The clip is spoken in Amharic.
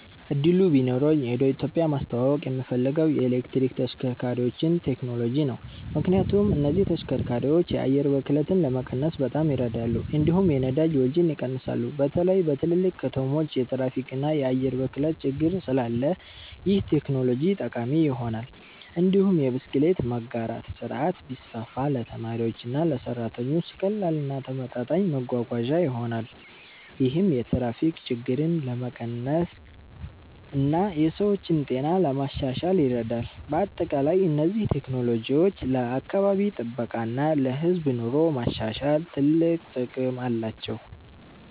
እድሉ ቢኖረኝ ወደ ኢትዮጵያ ማስተዋወቅ የምፈልገው የኤሌክትሪክ ተሽከርካሪዎችን ቴክኖሎጂ ነው። ምክንያቱም እነዚህ ተሽከርካሪዎች የአየር ብክለትን ለመቀነስ በጣም ይረዳሉ፣ እንዲሁም የነዳጅ ወጪን ይቀንሳሉ። በተለይ በትልልቅ ከተሞች የትራፊክ እና የአየር ብክለት ችግር ስላለ ይህ ቴክኖሎጂ ጠቃሚ ይሆናል። እንዲሁም የብስክሌት መጋራት ስርዓት ቢስፋፋ ለተማሪዎችና ለሰራተኞች ቀላል እና ተመጣጣኝ መጓጓዣ ይሆናል። ይህም የትራፊክ ችግርን ለመቀነስ እና የሰዎችን ጤና ለማሻሻል ይረዳል። በአጠቃላይ እነዚህ ቴክኖሎጂዎች ለአካባቢ ጥበቃ እና ለህዝብ ኑሮ ማሻሻል ትልቅ ጥቅም አላቸው።